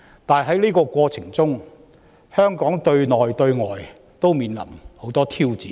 但是，在這過程中，香港對內對外均面臨許多挑戰。